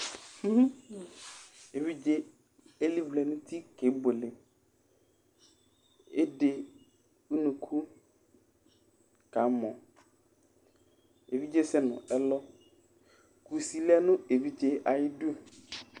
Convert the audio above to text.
évidzé ili vlɛ nu uti ké buélé édéc unuku kamɔ évidzé sɛ nu ɛlɔ kusi lɛ nu évidzé ayi du